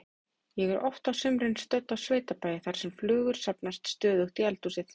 Ég er oft á sumrin stödd á sveitabæ þar sem flugur safnast stöðugt í eldhúsið.